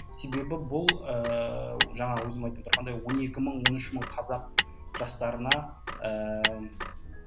себебі бұл ііі жаңағы өзім айтып отырғандай он екі мың он үш мың қазақ жастарына ііі